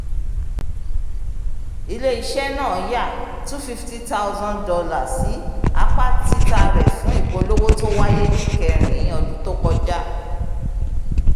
ilé-iṣẹ́ náà yà $250000 sí apá tita rẹ fún ipolówó tó waye ní kẹ́rìn-ín ọdún tó kọjá